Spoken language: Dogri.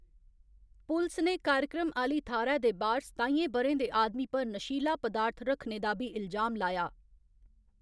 पुलस ने कार्यक्रम आह्‌ली थाह्‌‌‌रै दे बाह्‌‌र सताइयें ब'रें दे आदमी पर नशीला पदार्थ रक्खने दा बी इल्जाम लाया।